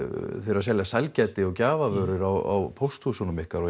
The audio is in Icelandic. að selja sælgæti og gjafavörur á pósthúsunum ykkar og